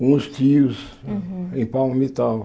com uns tios Uhum em.